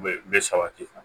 Bɛ bɛ sabati